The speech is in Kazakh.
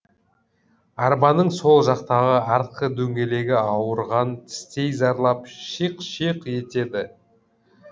арбаның сол жақтағы артқы дөңгелегі ауырған тістей зарлап шиқ шиқ етеді